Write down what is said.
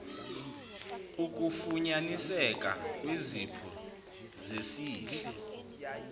ukufunyaniseka kwezipho zesihle